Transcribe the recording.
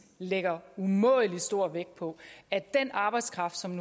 lægger umådelig stor vægt på at den arbejdskraft som